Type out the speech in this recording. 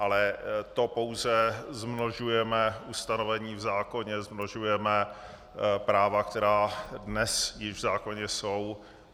Ale to pouze zmnožujeme ustanovení v zákoně, zmnožujeme práva, která dnes již v zákoně jsou.